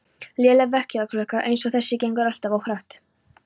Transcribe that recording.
Léleg vekjaraklukka eins og þessi gengur alltaf of hratt